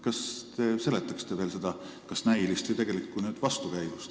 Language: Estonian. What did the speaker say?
Kas te seletaksite veel seda kas näilist või tegelikku vastuolu?